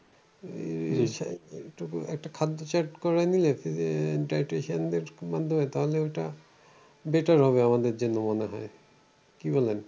উম একটা খাদ্য chart করে নিলে আহ dietitian দের মাধ্যমে তাহলে ঐটা better হবে আমাদের জন্য মনে হয় কি বলেন?